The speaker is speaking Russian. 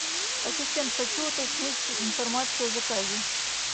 ассистент хочу уточнить информацию о заказе